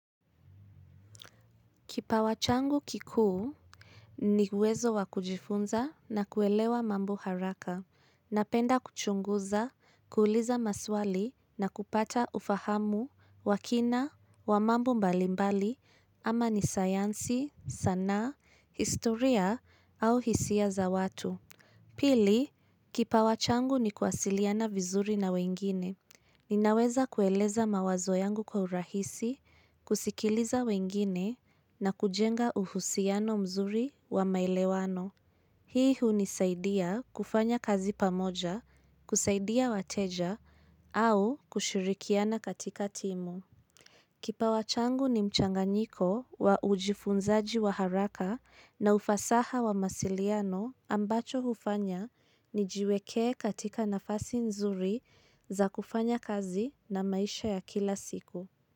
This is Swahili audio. Kipawa changu kikuu, ni uwezo wa kujifunza na kuelewa mambo haraka. Napenda kuchunguza, kuuliza maswali na kupata ufahamu, wa kina, wa mambo mbalimbali, ama ni sayansi, sanaa, historia au hisia za watu. Pili, kipawa changu ni kuwasiliana vizuri na wengine. Ninaweza kueleza mawazo yangu kwa urahisi, kusikiliza wengine, na kujenga uhusiano mzuri wa maelewano. Hii hunisaidia kufanya kazi pamoja, kusaidia wateja, au kushirikiana katika timu. Kipawa changu ni mchanganyiko wa ujifunzaji wa haraka na ufasaha wa mawasiliano ambacho hufanya nijiweke katika nafasi nzuri za kufanya kazi na maisha ya kila siku.